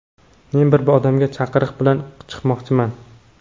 Men bir odamga chaqiriq bilan chiqmoqchiman.